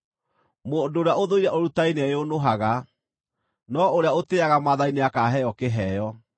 Mũndũ ũrĩa ũthũire ũrutani nĩeyũnũhaga, no ũrĩa ũtĩĩaga maathani nĩakaheo kĩheo.